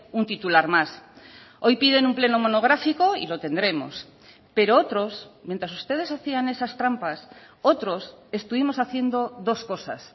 un titular más hoy piden un pleno monográfico y lo tendremos pero otros mientras ustedes hacían esas trampas otros estuvimos haciendo dos cosas